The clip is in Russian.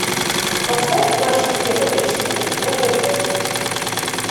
поставь наша тема эйч ди на тв